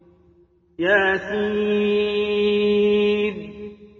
يس